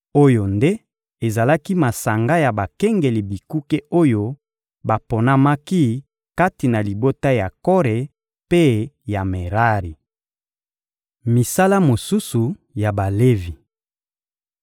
Oyo nde ezalaki masanga ya bakengeli bikuke oyo baponamaki kati na libota ya Kore mpe ya Merari. Misala mosusu ya Balevi